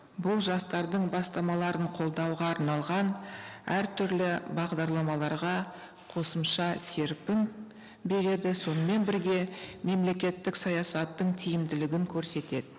бұл жастардың бастамаларын қолдауға арналған әртүрлі бағдарламаларға қосымша серпін береді сонымен бірге мемлекеттік саясаттың тиімділігін көрсетеді